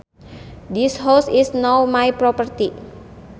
This house is now my property